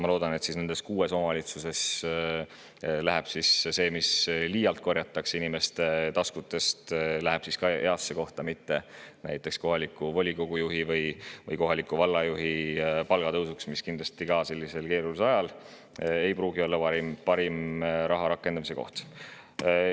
Ma loodan, et nendes kuues omavalitsuses läheb see, mis liialt korjatakse inimeste taskutest, ka heasse kohta, mitte näiteks kohaliku volikogu juhi või vallajuhi palgatõusuks, mis sellisel keerulisel ajal ei pruugi olla parim raha rakendamise koht.